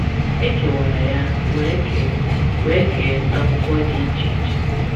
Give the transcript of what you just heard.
E kewara ya wee kee wee kee n’akwụkwọ dị iche iche.